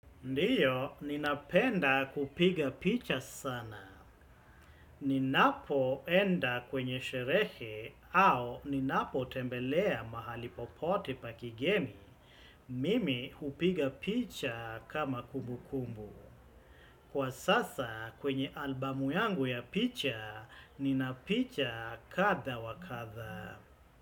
Ndio, ninapenda kupiga picha sana. Ninapoenda kwenye sherehe au ninapotembelea mahali popote pa kigeni. Mimi hupiga picha kama kumbu kumbu. Kwa sasa kwenye albamu yangu ya picha, nina picha kadha wa kadha.